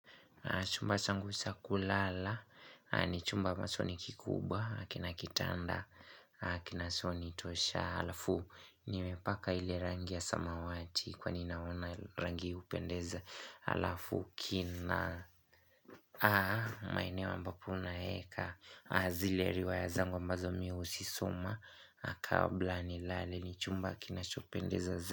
Chumba changu cha kulala, na ni chumba ambacho ni kikubwa, hakina kitanda, kina soni tosha, alafu, nimepaka ile rangi ya samawati, kwa ninaona rangi upendeza, alafu, kina, maeneo ambapo naeka, zile riwayazangu ambazo miusisoma, kabla ni lale, ni chumba kinachopendeza.